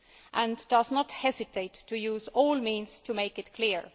and does not hesitate to use all means to make this clear.